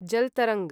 जल् तरंग्